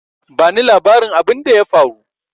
Ba ni labarin abinda ya faru!